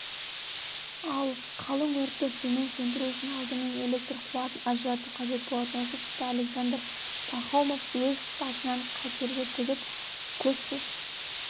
ал қалың өртті сумен сөндіру үшін алдымен электр қуатын ажырату қажет болатын осы тұста александр пахомов өз басын қатерге тігіп көзсіз